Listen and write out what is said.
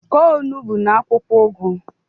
kụọ onugbu na akwụkwọ ugu.